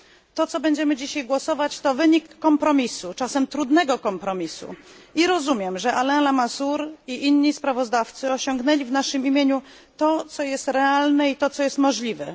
To, nad czym będziemy dziś głosować, to wynik kompromisu, czasem trudnego kompromisu, i rozumiem, że Alain Lamassoure i inni sprawozdawcy osiągnęli w naszym imieniu to, co jest realne i to, co jest możliwe.